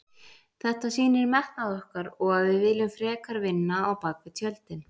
Þetta sýnir metnað okkar og að við viljum frekar vinna á bak við tjöldin.